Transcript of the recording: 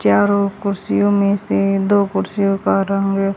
चारों कुर्सियों में से दो कुर्सियों का रंग--